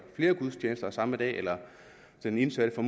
flere gudstjenester samme dag eller at den indsatte får